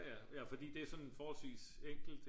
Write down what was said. ja fordi det er sådan forholdsvist enkelt